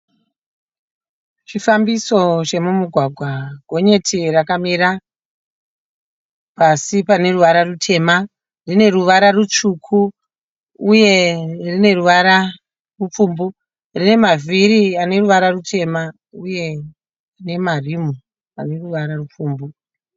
Chifambiso chemumugwagwa. Gonyeti rakamira pasi pane ruvara rutema. Rine ruvara rutsvuku uye rine ruvara rupfumbu. Rine mavhiri ane ruvara rutema uye nemarimu ane ruvara rupfumbu.